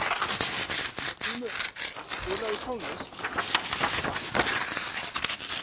Margrímur, spilaðu tónlist.